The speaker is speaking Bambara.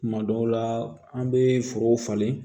Kuma dɔw la an be forow falen